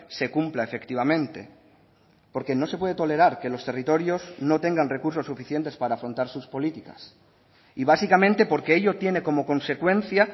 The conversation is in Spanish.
se cumpla efectivamente porque no se puede tolerar que los territorios no tengan recursos suficientes para afrontar sus políticas y básicamente porque ello tiene como consecuencia